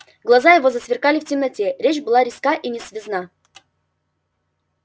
глаза его сверкали темноте речь была резка и несвязна